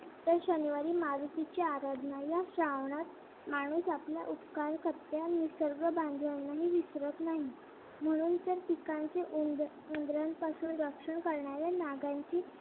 तर शनिवारी मारुतीची आराधना या श्रावणात माणूस आपल्या उपकारकर्त्या निसर्ग बांधवांना ही विसरत नाही म्हणून तर पिकांचे उंदरांपासून रक्षण करणाऱ्या नागांची